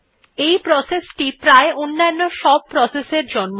এই প্রসেস টি প্রায় অন্যান্য সব প্রসেস এর জন্ম দেয